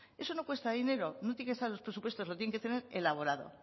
eso no cuesta dinero no tiene que estar en los presupuestos lo tienen que tener elaborado